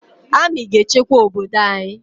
Amị ga-echekwa obodo anyị